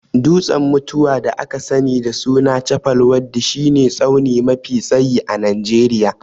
Dutsen mutuwa (da aka sani da sunan Chappal waddi) shi ne tsauni mafi tsayi a Najeriya